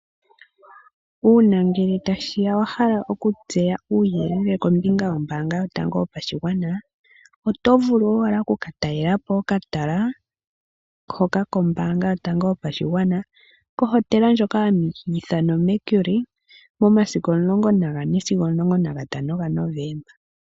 Uuna ngele tashi ya wa hala okutseya uuyelele kombinga yombaanga yotango yopashigwana oto vulu owala oku ka talela po okatala hoka kombaanga yotango yopashigwana kohotela ndjoka hayi ithanwa oMercure momasiku 14 sigo 15 Novemba.